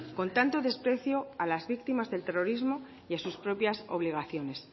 con tanto desprecio a las víctimas del terrorismo y a sus propias obligaciones